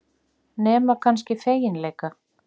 Nema kannski feginleika.